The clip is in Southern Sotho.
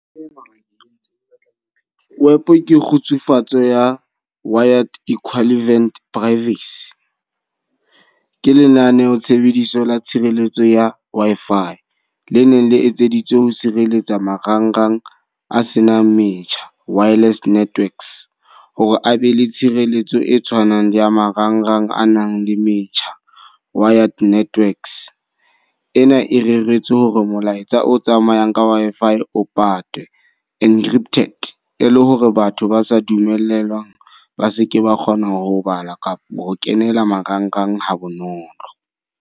WEP ke kgutsufatso ya Wired Equivalent Privacy. Ke lenaneo tshebediso ya tshireletso ya Wi-Fi. Le neng le etseditswe ho sireletsa marangrang a senang metjha, wireless networks. Ho re a be le tshireletso e tshwanang le ya marangrang a nang le metjha, wired networks. E na e reretswe hore molaetsa o tsamayang ka Wi-Fi o patuwe, encrypted. E le hore batho ba sa dumellwang ba seke ba kgona ho bala kapa ho kenela marangrang ha bonolo.